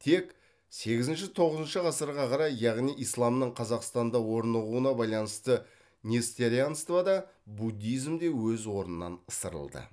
тек сегізінші тоғызыншы ғасырға қарай яғни исламның қазақстанда орнығуына байланысты несторианство да буддизм де өз орнынан ысырылды